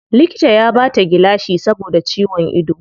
Likita ya bata gilashi saboda ciwon ido.